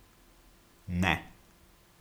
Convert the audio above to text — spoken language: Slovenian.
Ne.